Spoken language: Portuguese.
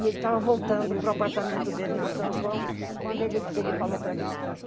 E ele estava voltando para o apartamento dele na São João, quando ele ele falou para mim.